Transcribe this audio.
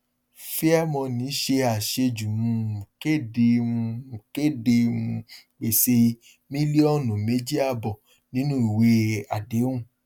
fairmoney ṣe àṣejù um kéde um kéde um gbèsè mílíọnù méjì àbọ nínú ìwé àdéhùn